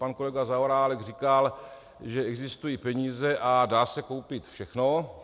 Pan kolega Zaorálek říkal, že existují peníze a dá se koupit všechno.